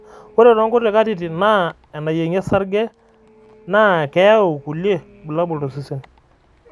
ore too nkuti katitin naa enayiengi osarg naa keyau kulie burlabul tosesen